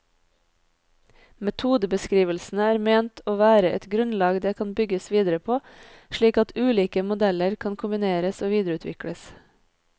Metodebeskrivelsene er ment å være et grunnlag det kan bygges videre på, slik at ulike metoder kan kombineres og videreutvikles.